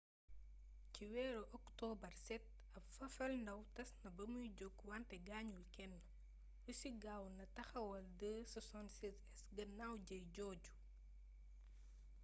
ci weeru okotobar7 ab fafalndaaw tas na bamuy jóg wante gaañul kenn russi gaaw na taxawal ii-76s gannaaw jëye jooju